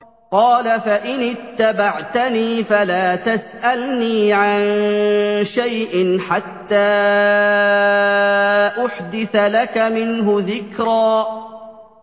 قَالَ فَإِنِ اتَّبَعْتَنِي فَلَا تَسْأَلْنِي عَن شَيْءٍ حَتَّىٰ أُحْدِثَ لَكَ مِنْهُ ذِكْرًا